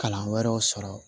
Kalan wɛrɛw sɔrɔ